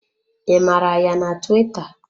I mara ya na tuwita?